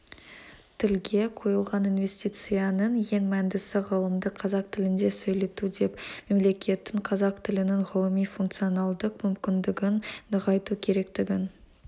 тілге құйылған инвестицияның ең мәндісі ғылымды қазақ тілінде сөйлету деп мемлекеттің қазақ тілінің ғылыми функционалдық мүмкіндігін нығайту керектігін